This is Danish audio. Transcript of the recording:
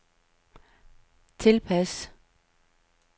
tilpas